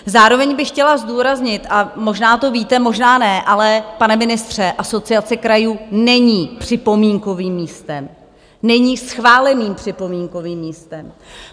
Zároveň bych chtěla zdůraznit - a možná to víte, možná ne - ale, pane ministře, Asociace krajů není připomínkovým místem, není schváleným připomínkovým místem.